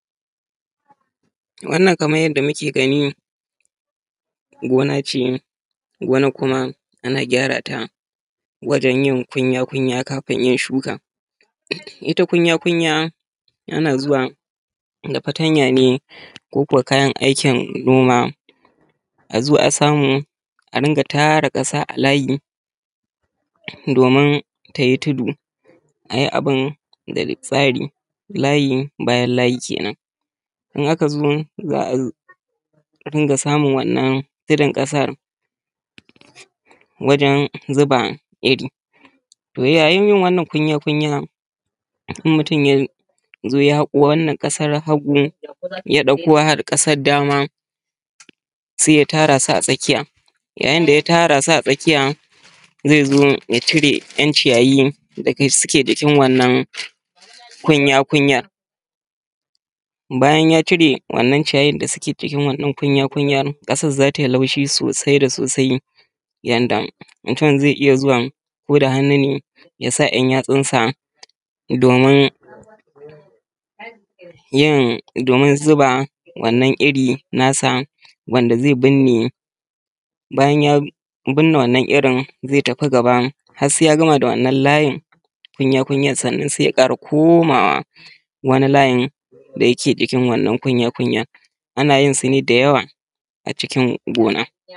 Wanan kamar yanda muke gani gona ce. Gona kuma ana gyarata wajan yin kunya kunya kafin iya shuka. Ita kunya kunya ana zuwa da fatanya ne koko kayan aikin noma, a zo a samu a ringa tara ƙasa a layi domin ta yi tudu a yi abin da tsari. Layi bayan layi, in aka zo za a ringa samu wannan tudun ƙasa wajan zuba iri. To yayin yin wannan kunya kunya, idan mutun ya zo ya haƙo wannan ƙasar, hagu ya ɗauko har ƙasar dama sai ya tara su a tsakiya. Yayin da ya tara su a tsakiya, zai zo ya cire ‘yan ciyayin da suke jikin wannan kunya kunya. Bayan ya cire wannan ciyayin da suke jikin wannan kunya kunya, ƙasan za ta yi laushi sosai da sosai yanda mutum zai iya zuwa ko da hannu ne ya sa ‘yan yatsunsa domin yin domin zuba wannan iri nasa, wanda zai burne. Bayan ya burne wannan irin zai tafi gaba har sai ya gama wannan layin kunya kunyan sannan sai ya ƙara komawa wani layin da yake jikin wannan kunya kunya ana yin sane da yawa a cikin gona.